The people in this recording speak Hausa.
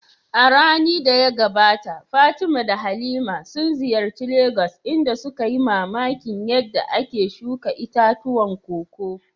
A rani da ta gabata Fatima da Halima sun ziyarci Legas inda suka yi mamakin yadda ake shuka itatuwan koko.